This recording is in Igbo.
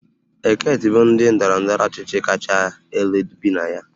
Eket bụ ndị ndọrọ ndọrọ ọchịchị kacha elu bi na ya